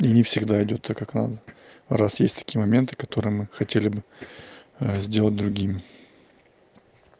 и не всегда идёт так как надо раз есть такие моменты которые мы хотели бы сделать другим